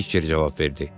Pitçer cavab verdi.